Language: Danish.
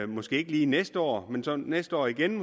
måske ikke lige næste år men så næste år igen